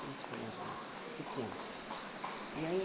Cinco crianças lá, pequenas. E eu ia